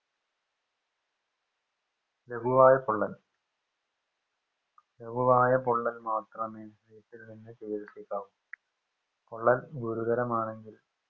ലകുവായ പൊള്ളൽ ലകുവായ പൊള്ളൽ മാത്രമേ വീട്ടിൽ നിന്ന് ചികിൽസിക്കാവു പൊള്ളൽ ഗുരുതരമാണെങ്കിൽ